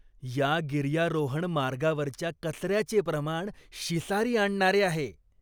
या गिर्यारोहण मार्गावरच्या कचऱ्याचे प्रमाण शिसारी आणणारे आहे.